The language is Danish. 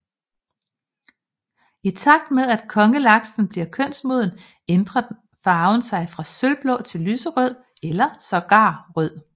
I takt med at Kongelaksen bliver kønsmoden ændre farven sig fra sølvblå til lyserød eller sågar rød